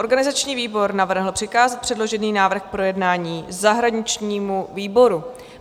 Organizační výbor navrhl přikázat předložený návrh k projednání zahraničnímu výboru.